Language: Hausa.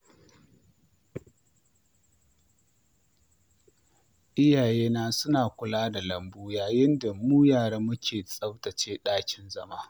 Iyayena suna kula da lambu yayin da mu yara muke tsaftace ɗakin zama.